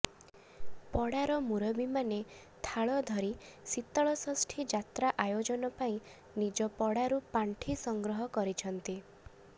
ପଡ଼ାର ମୁରବୀମାନେ ଥାଳ ଧରି ଶୀତଳଷଷ୍ଠୀ ଯାତ୍ରା ଆୟୋଜନ ପାଇଁ ନିଜ ପଡ଼ାରୁ ପାଣ୍ଠି ସଂଗ୍ରହ କରିଛନ୍ତି